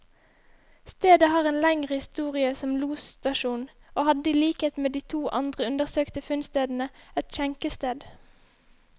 Stedet har en lengre historie som losstasjon, og hadde i likhet med de to andre undersøkte funnstedene, et skjenkested.